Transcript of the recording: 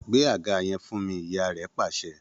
Gbé àga yẹn fún mi!, ìyá rẹ̀ pàṣẹ